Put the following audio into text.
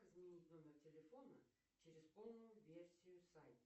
как изменить номер телефона через полную версию сайта